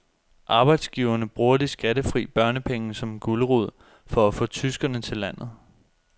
Arbejdsgiverne bruger de skattefri børnepenge som gulerod for at få tyskere til landet.